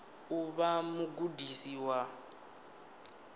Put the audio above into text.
u vha mugudisi wa u